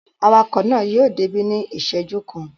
Awakọ̀ náà yóò débí ní ìṣẹ́jú kan.